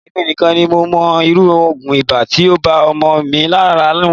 Emi nikan ni mo mo iru ogun iba ti o ba omo mi lara mu.